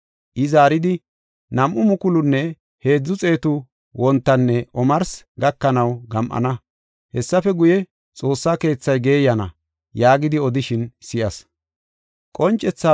I zaaridi, “Nam7u mukulunne heedzu xeetu wontanne omarsi gakanaw gam7ana; hessafe guye, xoossa keethay geeyana” yaagidi odishin si7as.